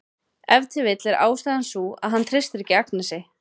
Ef til vill er ástæðan sú að hann treystir ekki Agnesi.